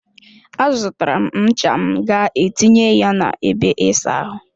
A zụtara m ncha m ga etinye na ebe ịsa ahụ.